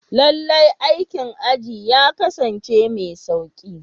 Lallai, aikin aji ya kasance mai sauƙi.